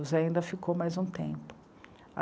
O Zé ainda ficou mais um tempo.